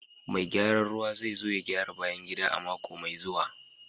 Mai gyaran ruwa zai zo ya gyara bayan gida a mako mai zuwa